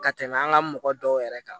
Ka tɛmɛ an ka mɔgɔ dɔw yɛrɛ kan